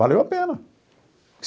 Valeu a pena.